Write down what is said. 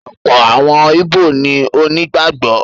ọ̀pọ̀ àwọn ìbó ni onígbàgbọ́.